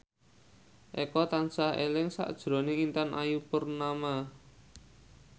Eko tansah eling sakjroning Intan Ayu Purnama